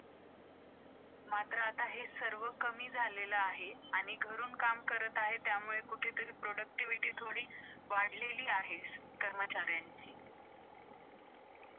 पूर्वीच्या काळी कुठेतरी जायचे झाले की, लोक cycle वापरायचे आणि बराच वेळ वाया जायचा.